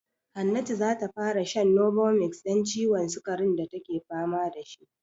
Hannatu za ta fara shan novomix don ciwon sikarin da take fama da shi.